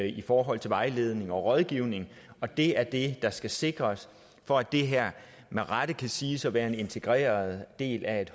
i forhold til vejledning og rådgivning og det er det der skal sikres for at det her med rette kan siges at være en integreret del af et